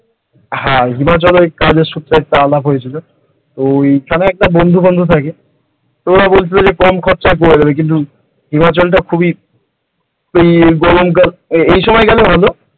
হ্যাঁ হিমাচলে ওই কাজের সূত্রে একটা আলাপ হয়েছিল ওই ওখানে একটা বন্ধু থাকে ওরা বলেছিল কম খরচাই হয়ে যাবে কিন্তু হিমাচল টা খুবই গরমকাল কিন্তু এই সময় গেলে ভালো ।